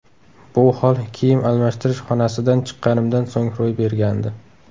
Bu hol kiyim almashtirish xonasidan chiqqanimdan so‘ng ro‘y bergandi.